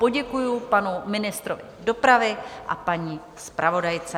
Poděkuji panu ministrovi dopravy a paní zpravodajce.